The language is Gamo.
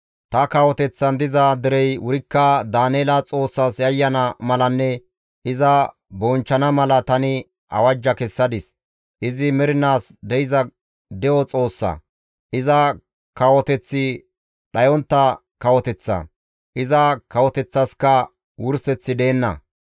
Ta kawoteththan diza derey wurikka Daaneela Xoossas yayyana malanne iza bonchchana mala tani awajja kessadis; izi mernaas de7iza De7o Xoossa; iza kawoteththi dhayontta kawoteththa; iza kawoteththaskka wurseththi deenna.